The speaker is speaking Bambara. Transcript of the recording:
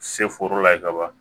Se foro la ye ka ban